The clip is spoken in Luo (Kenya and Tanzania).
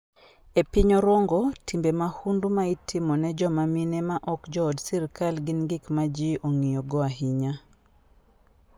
E piny Orongo, timbe mahundu ma itimo ne joma mine ma ok jood sirkal gin gik ma ji ong'iyogo ahinya.